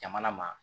Jamana ma